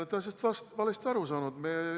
Ei, te olete asjast valesti aru saanud.